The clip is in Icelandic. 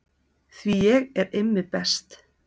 Því ég er Immi best.